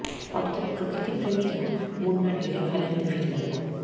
অর্থাৎ প্রকৃতি প্রেমীরা মুন্নার এলে খালি হাতে ফিরবেন না